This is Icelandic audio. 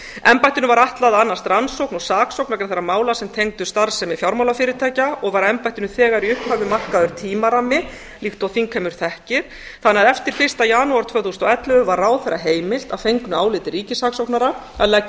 embættinu var ætlað að annast rannsókn og saksókn vegna þeirra mala sem tengdust starfsemi fjármálafyrirtækja og var embættinu þegar í upphafi markaður tímarammi líkt og þingheimur þekkir þannig að eftir fyrsta janúar tvö þúsund og ellefu var ráðherra heimilt að fengnu áliti ríkissaksóknara að leggja